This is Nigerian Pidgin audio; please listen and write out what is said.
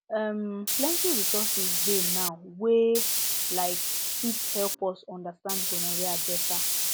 um plenty resources dey now wey um fit help us understand gonorrhea better